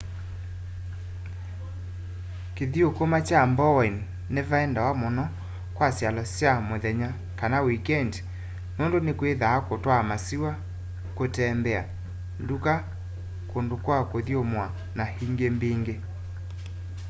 kĩthũkũma kya bowen nĩvaendawa mũno kwa syalo sya mũthenya kana wĩkendĩ nũndũ nĩkwĩthaa kũtwaa masĩwa kũtembea ndũka kũndũ kwa kũthũmũa na ĩngĩ mbĩngĩ